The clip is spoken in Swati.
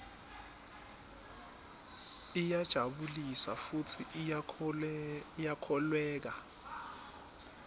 iyajabulisa futsi iyakholweka